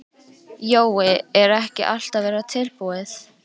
Jói, er ekki allt að verða tilbúið?